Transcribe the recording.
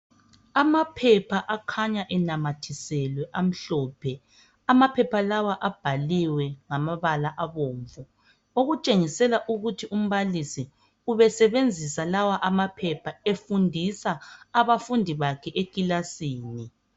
Amaphepha akhanya enamathiswele amhlophe amaphepha lawa abhaliwe ngamabala abomvu okutshengisela ukuthi umbalisi ubesebenzisa lawa amaphepha efundisa abafundi bakhe ekilasini.